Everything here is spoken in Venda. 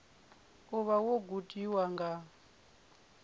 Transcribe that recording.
u vha wo gudiwa nga